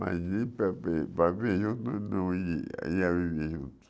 Mas ir para pe para junto, não ih ia viver juntos.